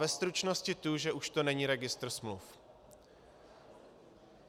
Ve stručnosti tu, že už to není registr smluv.